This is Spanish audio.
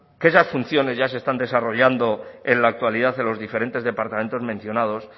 que esas funciones ya se están desarrollando en la actualidad en los diferentes departamentos mencionados